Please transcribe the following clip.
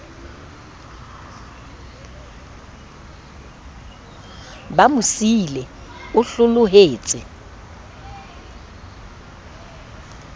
ba mo siile o hlolohetse